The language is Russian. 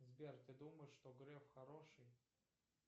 сбер ты думаешь что греф хороший